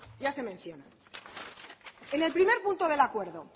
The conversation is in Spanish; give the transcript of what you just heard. ya se menciona en el primer punto del acuerdo